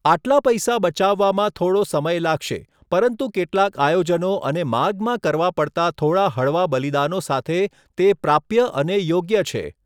આટલા પૈસા બચાવવામાં થોડો સમય લાગશે, પરંતુ કેટલાક આયોજનો અને માર્ગમાં કરવા પડતાં થોડા હળવા બલિદાનો સાથે, તે પ્રાપ્ય અને યોગ્ય છે.